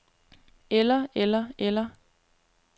eller eller eller